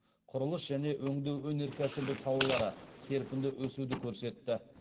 құрылыс және өңдеу өнеркәсібі салалары серпінді өсуді көрсетті